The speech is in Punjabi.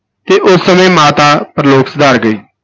ਤੇ ਉਸ ਸਮੇਂ ਮਾਤਾ ਪ੍ਰਲੋਕ ਸਿਧਾਰ ਗਏ।